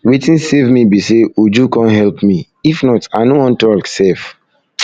wetin save me be say uju come help me if not i no wan talk sef